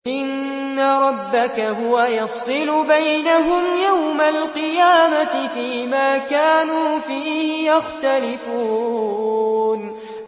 إِنَّ رَبَّكَ هُوَ يَفْصِلُ بَيْنَهُمْ يَوْمَ الْقِيَامَةِ فِيمَا كَانُوا فِيهِ يَخْتَلِفُونَ